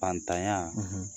Faantanya